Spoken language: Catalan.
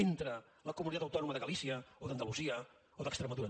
entre la comunitat autònoma de galícia o d’andalusia o d’extremadura